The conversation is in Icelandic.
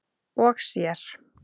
og sér.